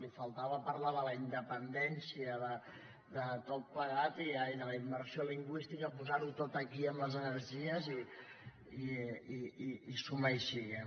li faltava parlar de la independència de tot plegat i de la immersió lingüística posar ho tot aquí amb les energies i suma y sigue